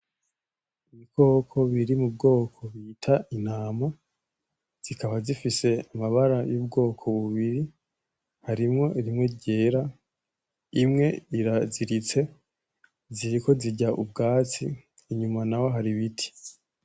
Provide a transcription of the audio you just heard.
Ibikoko biri mu bwoko bita intama zikaba zifise amabara y’ubwoko bubiri harimwo rimwe ryera imwe iraziritse ziriko zirya ubwatsi inyuma naho hari ibiti.